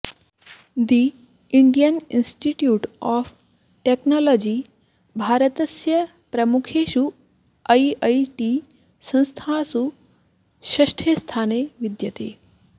the Indian Institute of Technology भारतस्य प्रमुखेषु I I T संस्थासु षष्ठे स्थाने विद्यते